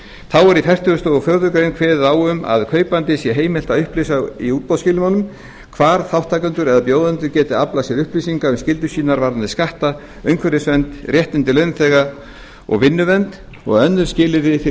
þá er í fertugustu og fjórðu grein kveðið á um að kaupanda sé heimilt að upplýsa í útboðsskilmálum hvar þátttakendur eða bjóðendur geti aflað sér upplýsinga um skyldur sínar varðandi skatta umhverfisvernd réttindi launþega og vinnuvernd og önnur skilyrði fyrir